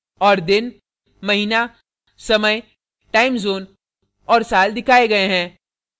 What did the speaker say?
और दिन महीना समय time zone और साल दिखाए day हैं